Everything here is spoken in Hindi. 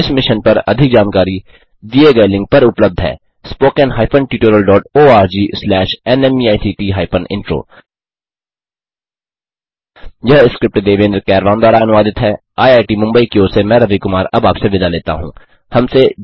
इस मिशन पर अधिक जानकारी दिए गए लिंक पर उपलब्ध है httpspoken tutorialorgNMEICT Intro यह स्क्रिप्ट देवेन्द्र कैरवान द्वारा अनुवादित हैआईआईटी मुंबई की ओर से मैं रवि कुमार अब आपसे विदा लेता हूँ